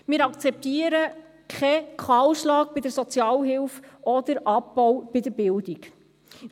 Wir akzeptieren keinen Kahlschlag bei der Sozialhilfe oder Abbau bei der Bildung.